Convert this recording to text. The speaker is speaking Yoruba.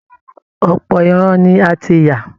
Ọ̀pọ̀ ìran ni a ti yà